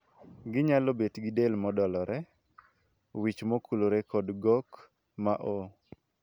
Ginyalo bet gi del modolore, wich mokulore kod gok ma oo.